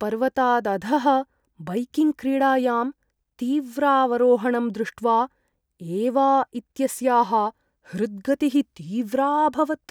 पर्वतादधः बैकिङ्ग्क्रीडायां तीव्रावरोहणं दृष्ट्वा एवा इत्यस्याः हृद्गतिः तीव्रा अभवत्।